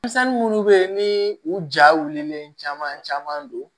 Denmisɛnnin munnu bɛ ye ni u ja wulilen caman caman don